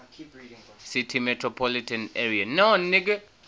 city metropolitan area